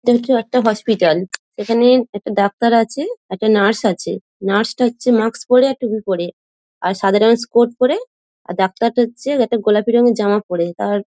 একটি হসপিটাল এখানে একটা ডাক্তার আছে একটা নার্স আছে নার্স -টা হচ্ছে মাস্ক পরে আর টুপি পরে আর সাদা রঙের স্কোর্ট পরে আর ডাক্তার -টা হচ্ছে একটা গোলাপি রঙের জামা পরে তার--